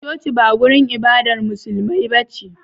Coci ba wajan ibadar musulmai bace